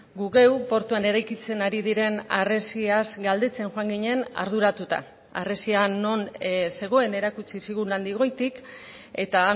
gu geu portuan eraikitzen ari diren harresiaz galdetzen joan ginen arduratuta harresia non zegoen erakutsi zigun handik goitik eta